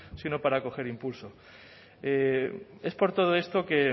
sino para coger impulso es por todo esto que